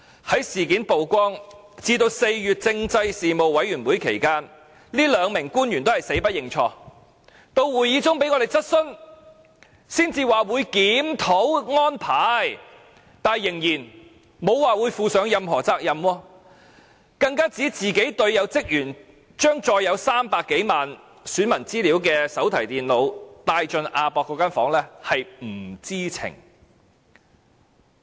在事件曝光至4月政制事務委員會會議期間，這兩名官員仍是死不認錯，至會議中被我們質詢，才說會檢討安排，但仍然沒有表示會負上任何責任，更指職員將載有300多萬名選民資料的手提電腦帶進亞博館房間中，自己是不知情。